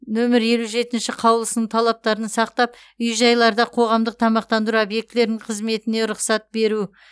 нөмір елу жетінші қаулысының талаптарын сақтап үй жайларда қоғамдық тамақтандыру объектілерінің қызметіне рұқсат беру